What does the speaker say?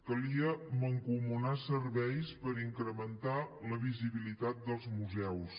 calia mancomunar serveis per incrementar la visibilitat dels museus